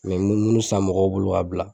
mɛ munnu san mɔgɔw bolo ka bila.